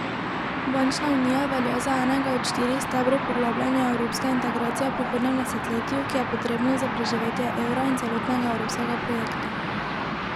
Bančna unija velja za enega od štirih stebrov poglabljanja evropske integracije v prihodnjem desetletju, ki je potrebno za preživetje evra in celotnega evropskega projekta.